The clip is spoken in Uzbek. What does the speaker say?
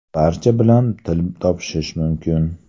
Barcha bilan til topishish mumkin.